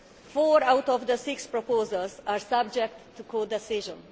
Four out of the six proposals are subject to codecision.